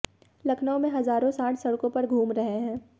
लखनऊ में हजारों सांड सड़को पर घूम रहे हैं